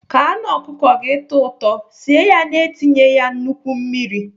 Ka anụ ọkụkọ tọọ ụtọ, sie ya na-etinye ya nnukwu mmiri.